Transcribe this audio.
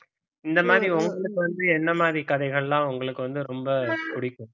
இந்த மாதிரி உங்களுக்கு வந்து என்ன மாதிரி கதைகள்லாம் உங்களுக்கு வந்து ரொம்ப பிடிக்கும்